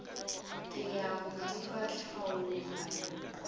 ke ya go diba tlhaologanyo